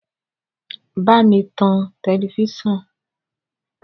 Bámi tan tẹlẹfísàn!